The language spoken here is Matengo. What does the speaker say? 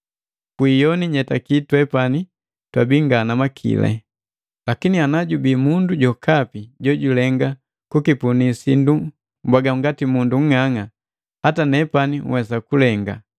Kwi iyoni nyetaki nde twepani twabii nga na makili. Lakini ana jubii mundu jokapi jojulenga kukipunii sindu mbwaaga ngati mundu nng'ang'a, hata nepani nhwesa kulenga.